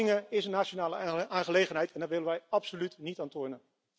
Maar belastingen zijn een nationale aangelegenheid en daar willen wij absoluut niet aan tornen.